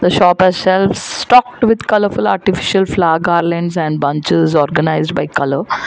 shop has shelves stocked with colourful artifical flower garlands and bunches organised by colour.